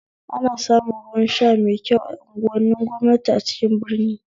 Ana samun ruwan sha mai kyau a unguwanin gwamnati a cikin birni